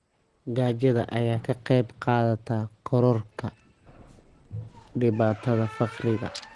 Gaajada ayaa ka qayb qaadata kororka dhibaatada faqriga.